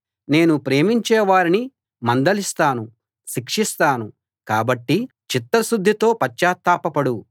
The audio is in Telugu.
నేను ప్రేమించేవారిని మందలిస్తాను శిక్షిస్తాను కాబట్టి చిత్తశుద్ధితో పశ్చాత్తాపపడు